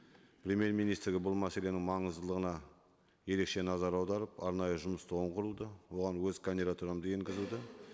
премьер министрге бұл мәселенің маңыздылығына ерекше назар аударып арнайы жұмыс тобын құруды оған өз кандидатурамды енгізуді